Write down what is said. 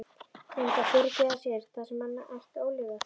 Myndi hann fyrirgefa sér það sem hann ætti ólifað?